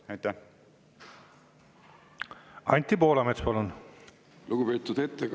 Anti Poolamets, palun!